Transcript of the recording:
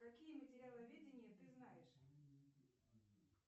какие материаловедения ты знаешь